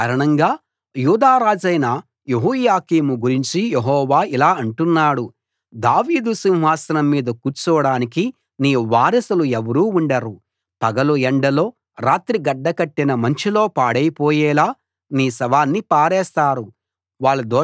ఆ కారణంగా యూదా రాజైన యెహోయాకీము గురించి యెహోవా ఇలా అంటున్నాడు దావీదు సింహాసనం మీద కూర్చోడానికి నీ వారసులు ఎవరూ ఉండరు పగలు ఎండలో రాత్రి గడ్డ కట్టిన మంచులో పాడైపోయేలా నీ శవాన్ని పారేస్తారు